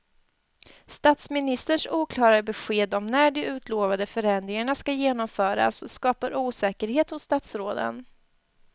Statsministerns oklara besked om när de utlovade förändringarna ska genomföras skapar osäkerhet hos statsråden.